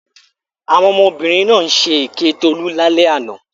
Àwọn ọmọbìnrin náà ṣe èké Tolú lálẹ́ àná.